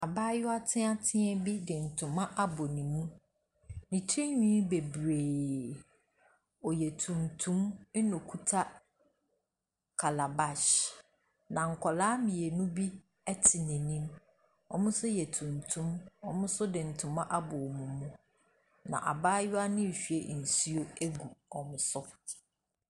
Abaayewa teatea bi de ntoma abɔ ne mu, ne tirihwi bebree, ɔyɛ tuntum, na okita calabash. Na nkwadaa mmienu bi te n’anim, wɔn nso yɛ tuntum, wɔn nso de ntoma abɔ wɔn mu. Na abaayewa no ɛrehwie nsuo agu koro so.